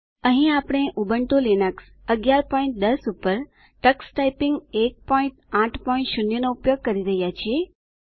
અહીં આપણે Ubuntu Linux 1110 પર ટક્સ ટાઈપીંગ 180 નો ઉપયોગ કરી રહ્યા છીએ